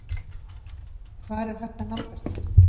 Hvar er hægt að nálgast þær?